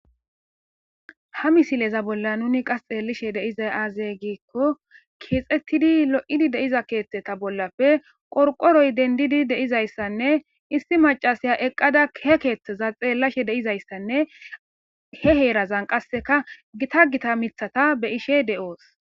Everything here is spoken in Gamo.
ha misileza bolla nuni qas xeellishe deizay aazey giikko keexettidi lo7idi deiza keeththeta bollafe qorqoroy dendidi deizayssanne issi macasiya eqqada he keeththeza xeellashe deizayssanne he heerazan qasseka gita gita mithata be ishe de7oos